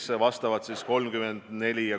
See tähendab seda, et tuleb väga tõsiselt asjasse suhtuda.